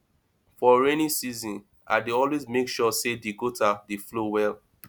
for rainy season i dey always mek sure say di gutter dey flow well